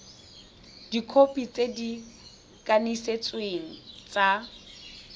dikhopi tse di kanisitsweng tsa